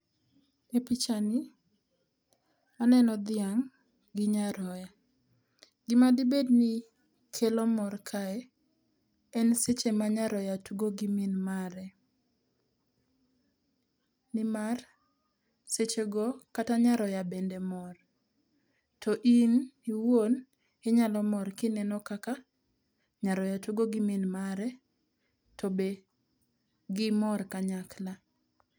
E pichani aneno dhiang' gi nyaroya. Gimadibed ni kelo mor kae, en seche ma nyaroya tugo gi min mare nimar sechego kata nyaroya bende mor. To in iwuon inyalo mor kineno kaka nyaroya tugo gi min mare to be gimor kanyakla.